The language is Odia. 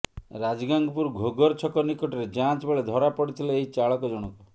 ରାଜଗାଙ୍ଗପୁର ଘୋଘର ଛକ ନିକଟରେ ଯାଞ୍ଚ ବେଳେ ଧରାପଡିଥିଲେ ଏହି ଚାଳକ ଜଣକ